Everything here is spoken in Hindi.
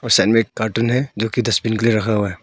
कार्टून है जो कि डसबिन के लिए रखा हुआ है।